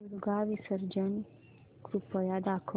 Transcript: दुर्गा विसर्जन कृपया दाखव